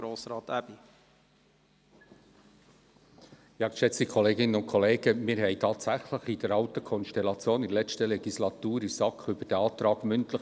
Während der letzten Legislatur diskutierten wir tatsächlich in der alten Konstellation der SAK diesen Antrag mündlich.